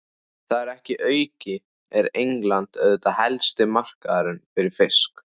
Þar að auki er England auðvitað helsti markaðurinn fyrir fiskinn.